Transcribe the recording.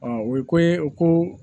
o ye ko ye o ko